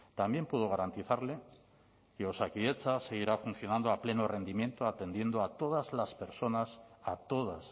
también puedo garantizarle que osakidetza seguirá funcionando a pleno rendimiento atendiendo a todas las personas a todas